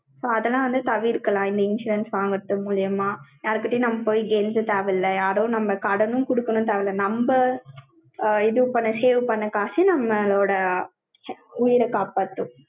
so அதெல்லாம் வந்து தவிர்க்கலாம். இந்த insurance வாங்கறது மூலியமா. யார்கிட்டயும் நம்ம போய் கெஞ்ச தேவையில்லை. யாரோ நம்ம கடனும் கொடுக்கணும்னு தேவையில்ல. நம்ம ஆ, இது பண்ண, save பண்ண காசு, நம்மளோட உயிரை காப்பாத்தும்.